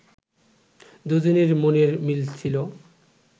দুজনের মনের মিল ছিল